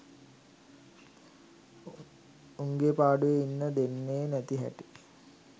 උගේ පාඩුවෙ ඉන්න දෙන්නෙ නැති හැටි